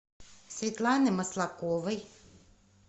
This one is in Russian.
светланы маслаковой